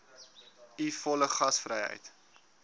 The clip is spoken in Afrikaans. u volle gasvryheid